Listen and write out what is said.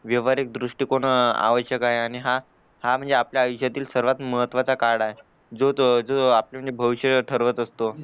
व्यावहारिक दृष्टिकोन आवश्यक आहे आणि हा हा म्हणजे आपल्या आयुष्यातील सर्वात महत्वाचा काळ आहे जो तो आपापले भविष्य ठरवत असतो